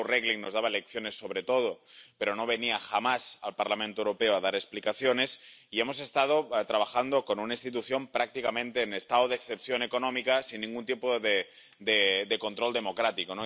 señor Regling nos daba lecciones sobre todo, pero no venía jamás al Parlamento Europeo a dar explicaciones, y hemos estado trabajando con una institución prácticamente en estado de excepción económica, sin ningún tipo de control democrático.